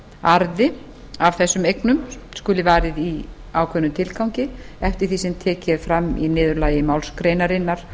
arði af þessum eignum skuli varið í ákveðnum tilgangi eftir því sem tekið er fram í niðurlagi málsgreinarinnar